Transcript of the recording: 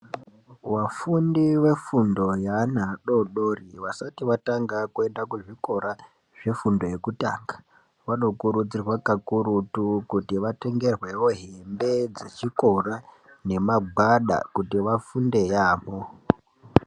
Vafundi vefundo yeana adodori asati atanga kuenda kuzvikora zvefundo yekutanga vanokurudzirwa kakurutu kuti vatengerwewo hembe dzechikora nemagwada kuti vafunde yaamho.